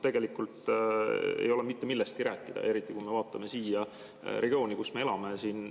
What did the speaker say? Tegelikult ei ole mitte millestki rääkida, eriti kui me vaatame seda regiooni, kus me elame.